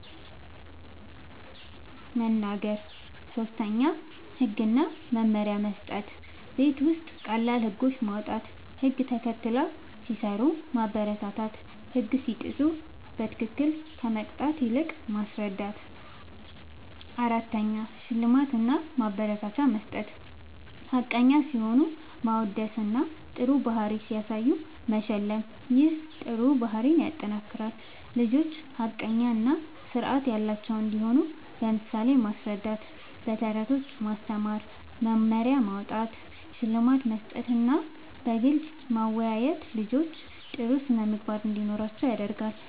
መናገር። ፫. ህግ እና መመሪያ መስጠት፦ ቤት ውስጥ ቀላል ህጎች ማዉጣት፣ ህግ ተከትለው ሲሰሩ ማበረታታትና ህግ ሲጥሱ በትክክል ከመቅጣት ይልቅ ማስረዳት ፬. ሽልማት እና ማበረታቻ መስጠት፦ ሐቀኛ ሲሆኑ ማወደስና ጥሩ ባህሪ ሲያሳዩ መሸለም ይህ ጥሩ ባህሪን ያጠናክራል። ልጆች ሐቀኛ እና ስርዓት ያላቸው እንዲሆኑ በምሳሌ ማስረዳት፣ በተረቶች ማስተማር፣ መመሪያ ማዉጣት፣ ሽልማት መስጠትና በግልጽ ማወያየት ልጆች ጥሩ ስነ ምግባር እንዲኖራቸዉ ያደርጋል